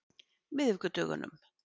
miðvikudögunum